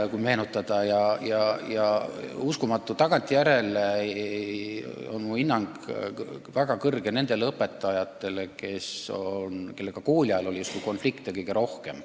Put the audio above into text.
Kui meenutada, siis uskumatu, aga tagantjärele hindan ma väga kõrgelt neid õpetajaid, kellega kooli ajal oli justkui konflikte kõige rohkem.